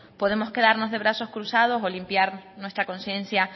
podemos quedarnos de brazos cruzados o limpiar nuestra conciencia